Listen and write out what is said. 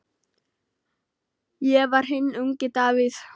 Ég var hinn ungi Davíð.